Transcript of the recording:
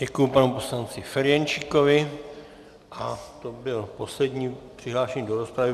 Děkuji panu poslanci Ferjenčíkovi a to byl poslední přihlášený do rozpravy.